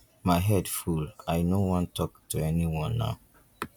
my head full i no wan talk to anyone now.